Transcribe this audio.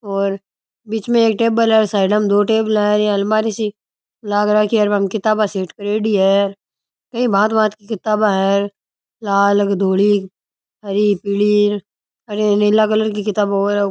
और बीच में एक टेबल है साइडा में दो टेबला है अलमारी सी लाग राखी है और बामे किताबा सी सेट करेड़ी है और भांत भांत की किताबा है लाल एक धोड़ी हरी पीली नीला कलर की किताबे और है।